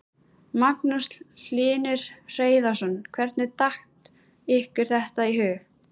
Magnús Hlynur Hreiðarsson: Hvernig datt ykkur þetta í hug?